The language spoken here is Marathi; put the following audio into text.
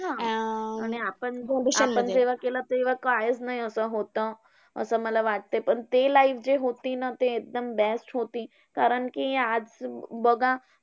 अं आणि आता आपण जेव्हा केलं, तेव्हा काहीच नाही असं होतं, असं मला वाटतंय. पण ते life जे होती ना, ते एकदम best होती. कारण कि आज बघा